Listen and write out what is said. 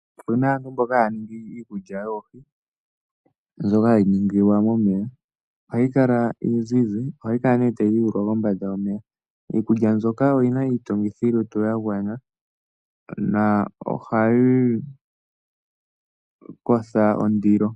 Opu na aantu mboka haya ningi iikulya yoohi mbyoka hayi ningilwa momeya. Ohayi kala iizize. Ohayi kala tayi yuulwa kombanda yomeya. Iikulya mbyoka oyi na iitungithilutu ya gwana nohayi kwatha ondilo.